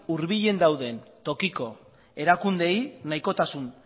hurbilen dauden tokiko erakundeei nahikotasun